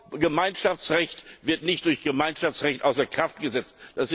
Vorgemeinschaftsrecht wird nicht durch Gemeinschaftsrecht außer Kraft gesetzt.